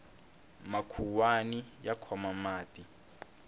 makhuwani ya khoma mati